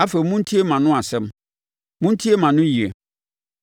Afei montie mʼano asɛm; montie mʼanoyie.